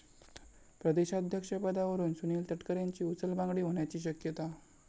प्रदेशाध्यक्ष पदावरून सुनील तटकरेंची उचलबांगडी होण्याची शक्यता